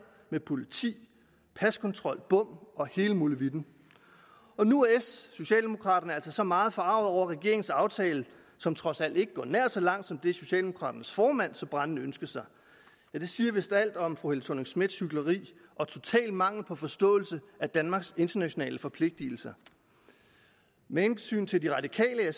med politi paskontrol bom og hele molevitten nu er socialdemokraterne så altså meget forarget over regeringens aftale som trods alt ikke går nær så langt som det socialdemokraternes formand så brændende ønskede sig det siger vist alt om fru helle thorning schmidts hykleri og totale mangel på forståelse af danmarks internationale forpligtelser med hensyn til de radikale